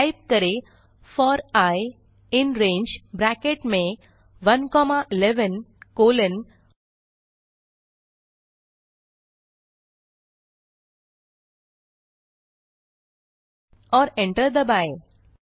type करें for i in rangeब्रैकेट में 1 कॉमा 11 कोलोन और enter दबाएँ